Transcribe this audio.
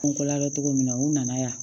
N ko ladon cogo min na u nana yan